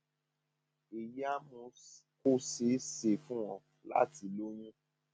èyí á mú kó ṣe é ṣe fún ọ láti lóyún